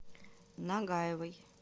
нагаевой